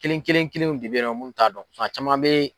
Kelen kelen kelenw de bɛ ye nɔ minnu t'a dɔn fan caman bɛ